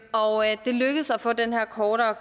og det lykkedes at få den her kortere